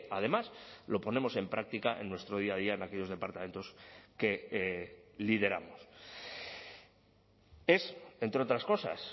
además lo ponemos en práctica en nuestro día a día en aquellos departamentos que lideramos es entre otras cosas